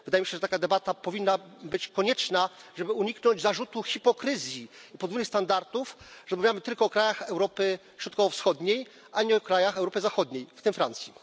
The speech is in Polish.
Wydaje mi się, że taka debata powinna być konieczna, żeby uniknąć zarzutu hipokryzji i podwójnych standardów, że rozmawiamy tylko o krajach Europy Środkowo Wschodniej, a nie o krajach Europy Zachodniej, w tym Francji.